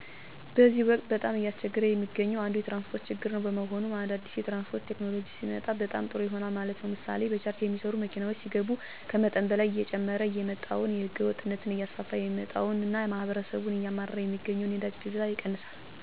በዚህ ወቅት በጣም እያስቸገረ የሚገኘው አንዱ የትራንስፖርት ችግር ነው። በመሆኑም አዳዲስ የትራንስፖርት ቴክኖሎጂ ሲመጣ በጣም ጦሩ ይሆናል ማለት ነው። ምሥሌ በቻርጅ ሚሠራ መኪና ሲገባ ከመጠን በላይ እየጨመረ የመጣውንና ህገወጥነትን እያስፋፋ የመጣውን እና ማህበረሠቡን እያማረረ ሚገኘውን የነዳጅ ፍጆታን ይቀንሣል፣ የ ከካባቢ ብክለትን ይቀንሣል፣ ጊዜን ይቆጥባል።........ወዘተ ጥቅሞች ይኖሩታል ማለት ነው። ብስክሌትን ብንወሰድም እንዱሁ፦ ሰልፍ ሣንጠብቅ በፈለግነው ጊዜ እንቀሣቀሳለን፣ ለጤናችንም ይጠቅማል፣ የታክሲ ወጭንም ይቀንሣል በጥቅሉ ጠቃሚ ናቸው።